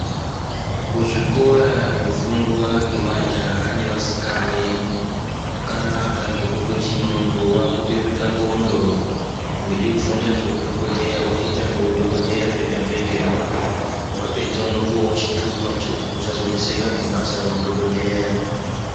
Kuzvikora zvofundwa ngemajahe nevasikane zvakanaka ngekuti muntu vakubereke ndxondo. Uide kufunda zveudhogodheya votoite zveudhogodheya zvega izvozvo. Vapedza unopuvavo chitupa chekuti usazoneseka ngebasa reudhogodheya.